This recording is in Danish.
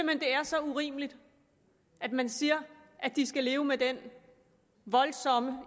det er så urimeligt at man siger at de skal leve med den voldsomme